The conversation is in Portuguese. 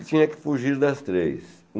E tinha que fugir das três.